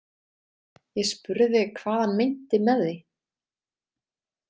Ég spurði hvað hann meinti með því.